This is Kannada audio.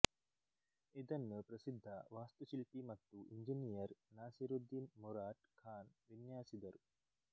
ಇದನ್ನು ಪ್ರಸಿದ್ಧ ವಾಸ್ತುಶಿಲ್ಪಿ ಮತ್ತು ಎಂಜಿನಿಯರ್ ನಾಸಿರುದಿನ್ ಮುರಾಟ್ ಖಾನ್ ವಿನ್ಯಾಸಿದರು